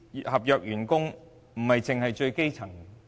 合約員工不單是最基層員工。